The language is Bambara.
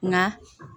Nka